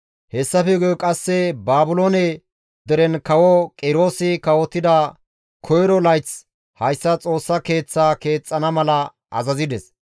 Hessafe guye qasse Baabiloone deren kawo Qiroosi kawotida koyro layth hayssa Xoossa Keeththaa keexxana mala azazides.